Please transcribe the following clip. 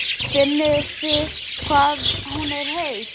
Finnið þið hvað hún er heit?